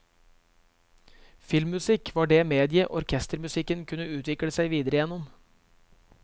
Filmmusikk var det mediet orkestermusikken kunne utvikle seg videre gjennom.